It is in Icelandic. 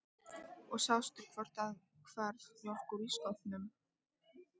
Og sástu hvort það hvarf mjólk úr ísskápnum?